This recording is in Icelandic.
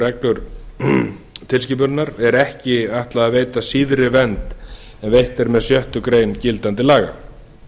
reglu tilskipunarinnar er ekki ætlað að veita síðri vernd en veitt er með sjöttu grein gildandi laga